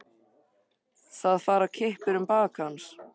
Það fara kippir um bak hans.